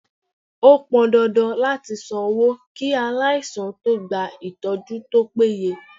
Ó pọn dandan láti san owó kí aláìsàn tó gba ìtọ́jú tó péye.